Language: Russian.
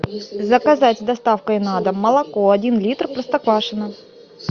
заказать с доставкой на дом молоко один литр простоквашино